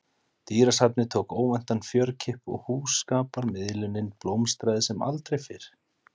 Dýrasafnið tók óvæntan fjörkipp og hjúskaparmiðlunin blómstraði sem aldrei fyrr.